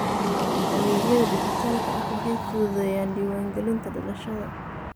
Adeegyada dijitaalka ah waxay fududeeyaan diiwaangelinta dhalashada.